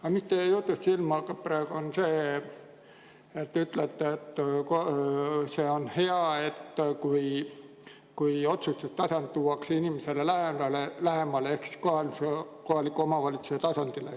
Aga teie jutust hakkab praegu silma, et te ütlete, et see on hea, kui otsustus tuuakse inimesele lähemale ehk kohaliku omavalitsuse tasandile.